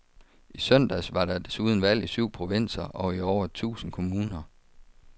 I søndags var der desuden valg i syv provinser og i over tusind kommuner.